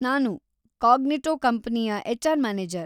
ನಾನು ಕಾಗ್ನಿಟೋ ಕಂಪನಿಯ HR. Manager.